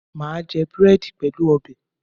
Mà á jẹ búrẹ́dì pẹ̀lú ọbẹ̀